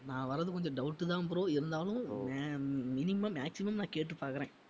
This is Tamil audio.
நான் வர்றது கொஞ்சம் doubt தான் bro இருந்தாலும் ma~ minimum maximum நான் கேட்டுப் பார்க்கிறேன்